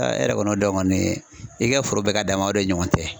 e yɛrɛ kɔni y'o dɔn kɔni, i ka foro bɛ k'a dama , o de dɔ ni ɲɔgɔn tɛ.